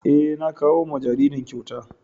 Eh, na kawo ma jaririn kyauta.